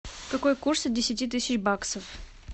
какой курс от десяти тысяч баксов